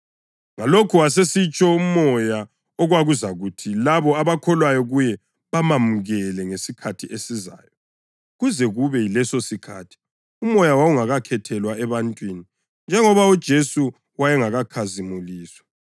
Ngalokhu wayesitsho uMoya, okwakuzakuthi labo abakholwa kuye bamamukele ngesikhathi esizayo. Kuze kube yilesosikhathi uMoya wawungakathelwa ebantwini, njengoba uJesu wayengakakhazimuliswa.